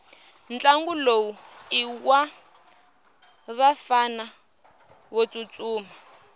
ntlangu lowu iwavafana votsutsuma